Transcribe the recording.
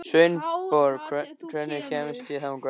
Sveinborg, hvernig kemst ég þangað?